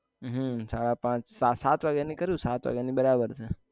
હમ સાડા પાંચ સા સાત વાગ્યા ની કરું સાત વગ્યા ની બરાબર છે